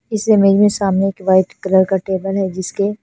इस सामने एक वाइट कलर जिसके--